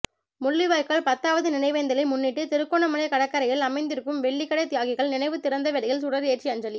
முள்ளிவாய்க்கால் பத்தாவது நினைவேந்தலை முன்னிட்டு திருகோணமலை கடற்கரையில் அமைந்திருக்கும் வெலிக்கடை தியாகிகள் நினைவுத் திறந்தவெளியில் சுடர் ஏற்றி அஞ்சலி